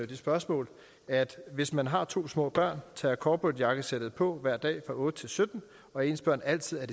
det spørgsmål hvis man har to små børn tager corporatejakkesættet på hver dag fra klokken otte til sytten og ens børn altid er